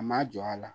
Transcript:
A ma jɔ a la